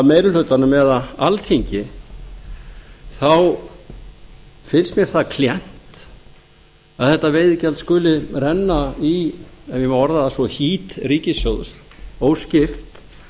meiri hlutanum eða alþingi finnst mér það klént að þetta veiðigjald skuli renna í ef ég má orða það svo hít ríkissjóðs óskipt